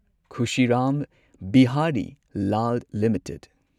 Khushi Ram Behari Lal limited